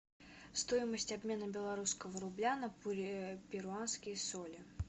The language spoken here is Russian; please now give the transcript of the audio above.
стоимость обмена белорусского рубля на перуанские соли